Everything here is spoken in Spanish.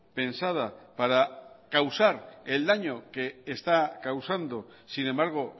pensada para causar el daño que está causando sin embargo